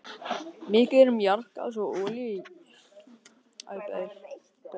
Mikið er um jarðgas og olíu í jarðlögum á þessum svæðum.